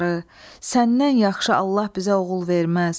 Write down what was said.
Səndən yaxşı Allah bizə oğul verməz.